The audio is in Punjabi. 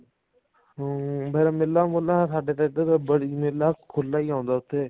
ਹਮ ਵੈਸੇ ਮਿੱਲਾਂ ਮੁੱਲਾਂ ਸਾਡੇ ਤਾਂ ਇੱਧਰ ਮਿੱਲਾਂ ਖੁੱਲਾ ਹੀ ਆਉਂਦਾ ਉੱਥੇ